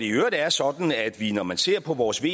øvrigt er sådan at vi når man ser på vores ve